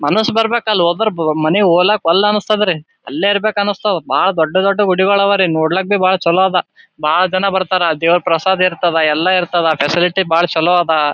ಮನಸು ಬರ್ಬೆಕ್ ಅಲ್ ಹೊದ್ರ ಮನೆಗ್ ಹೋಗ್ಲಕ್ ಒಲ್ಲೆ ಅನಸ್ತದ್ ರೀ ಅಲ್ಲೇ ಇರ್ಬೆಕ್ ಅನ್ಸ್ತಾವು ಬಹಳ ದೊಡ್ಡ್ ದೊಡ್ಡ ಗುಡಿ ಗಳಿವೆ ರೀ ನೋಡ್ಲಿಕ್ ಬಹಳ ಚಲೋ ಅದ ಬಹಳ ಜನ ಬರ್ಥರ ದೇವರ ಪ್ರಸಾದ ಇರ್ತದ ಎಲ್ಲ ಇರ್ತದ ಫೆಸಿಲಿಟಿ ಬಹಳ ಚಲೋ ಅದ .